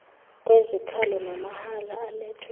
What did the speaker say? kwezikhalo namahala alethwe